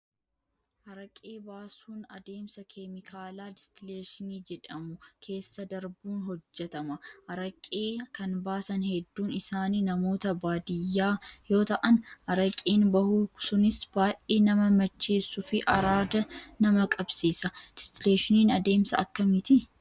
Araqee baasuun adeemsa keemikaalaa distileeshinii jedhamu keessa darbuun hojjatama. Araqee kan baasan hedduun isaanii namoota baadiyyaa yoo ta'an, araqeen bahu sunis baay'ee nama macheessuu fi araada nama qabsiisa. Distileeshiniin adeemsa akkamiiti?